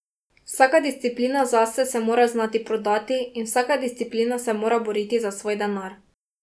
Vsaka discplina zase se mora znati prodati in vsak discplina se mora boriti za svoj denar.